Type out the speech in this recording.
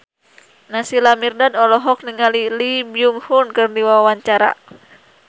Naysila Mirdad olohok ningali Lee Byung Hun keur diwawancara